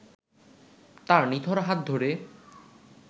তার নিথর হাত ধরে